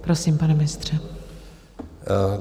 Prosím, pane ministře.